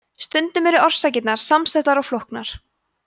stundum eru orsakirnar samsettar og flóknar